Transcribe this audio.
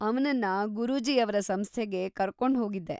ಅವ್ನನ್ನ ಗುರೂಜೀ ಅವ್ರ ಸಂಸ್ಥೆಗೆ ಕರ್ಕೊಂಡ್ಹೋಗಿದ್ದೆ.